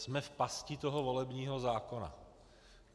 Jsme v pasti toho volebního zákona.